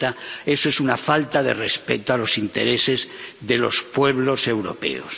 70. Eso es una falta de respeto a los intereses de los pueblos europeos.